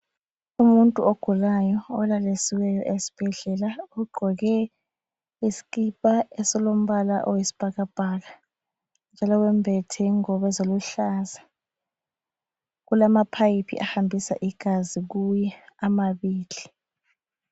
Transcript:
Umuntu ogulayo olalisiweyo esibhedlela, ugqoke iskipa esilombala oyisbhakabhaka njalo wembethe ingubo eziluhlaza kulama pipe ahambisa igazi kuye amabili.